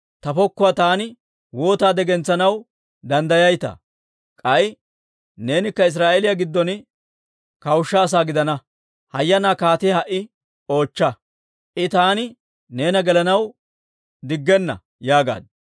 Ta pokkuwaa taani waataade gentsanaw danddayayitaa? K'ay neenikka Israa'eeliyaa giddon kawushsha asaa gidana. Hayyanaa kaatiyaa ha"i oochcha. I taani neena gelanaw diggenna» yaagaaddu.